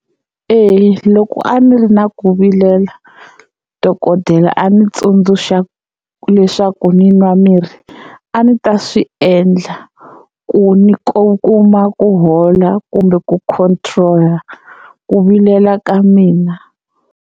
E loko a ni ri na ku vilela dokodela a ndzi tsundzuxa leswaku ni nwa mirhi a ni ta swi endla ku ni ku kuma ku hola kumbe ku control ku vilela ka mina.